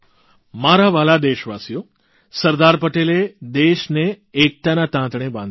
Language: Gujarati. મારા વ્હાલા દેશવાસીઓ સરદાર પટેલે દેશને એકતાના તાંતણે બાંધ્યો